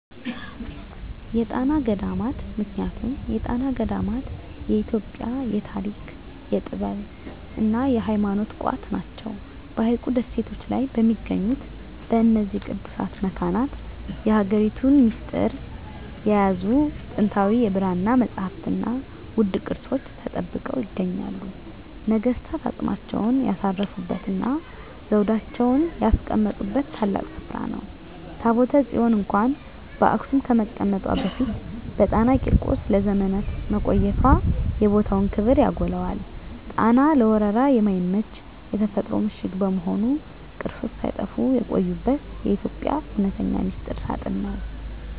የጣና ገዳማት ምክንያቱም የጣና ገዳማት የኢትዮጵያ የታሪክ፣ የጥበብና የሃይማኖት ቋት ናቸው። በሐይቁ ደሴቶች ላይ በሚገኙት በእነዚህ ቅዱሳት መካናት፣ የሀገሪቱን ሚስጥር የያዙ ጥንታዊ የብራና መጻሕፍትና ውድ ቅርሶች ተጠብቀው ይገኛሉ። ነገሥታት አፅማቸውን ያሳረፉበትና ዘውዳቸውን ያስቀመጡበት ታላቅ ስፍራ ነው። ታቦተ ጽዮን እንኳን በአክሱም ከመቀመጧ በፊት በጣና ቂርቆስ ለዘመናት መቆየቷ የቦታውን ክብር ያጎላዋል። ጣና ለወረራ የማይመች የተፈጥሮ ምሽግ በመሆኑ፣ ቅርሶች ሳይጠፉ የቆዩበት የኢትዮጵያ እውነተኛ ሚስጥር ሳጥን ነው።